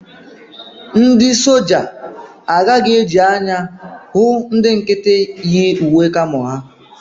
Ndị soja agaghị eji anya ahụ ndị nkịtị yi uwe kamo ha